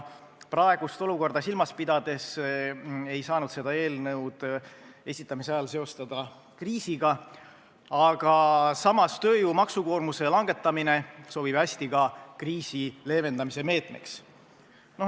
Praegust olukorda silmas pidades ei saanud seda eelnõu esitamise ajal seostada kriisiga, aga samas sobib tööjõu maksukoormuse langetamine hästi ka kriisi leevendamise meetmeks.